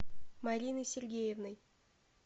мариной сергеевной